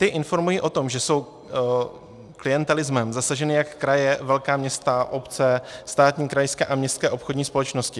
Ty informují o tom, že jsou klientelismem zasaženy jak kraje, velká města, obce, státní, krajské a městské obchodní společnosti.